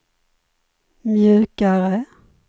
mjukare